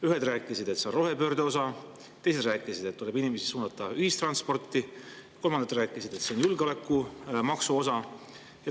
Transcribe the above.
Ühed rääkisid, et see on rohepöörde osa, teised rääkisid, et tuleb inimesi suunata ühistransporti, kolmandad rääkisid, et see on julgeolekumaksu osa.